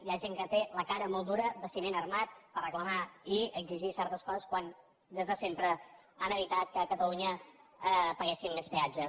hi ha gent que té la cara molt dura de ciment armat per reclamar i exigir certes coses quan des de sempre no han evitat que a catalunya paguéssim més peatges